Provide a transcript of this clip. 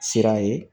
Sira ye